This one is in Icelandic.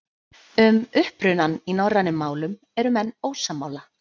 Um upprunann í norrænum málum eru menn ósammála.